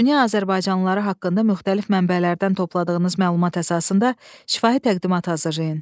Dünya azərbaycanlıları haqqında müxtəlif mənbələrdən topladığınız məlumat əsasında şifahi təqdimat hazırlayın.